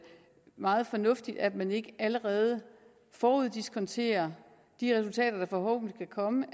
meget fornuftigt at man ikke allerede foruddiskonterer de resultater der forhåbentlig vil komme